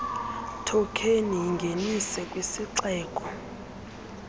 thokheni yingenise kwisixeko